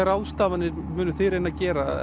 ráðstafanir munið þið reyna að gera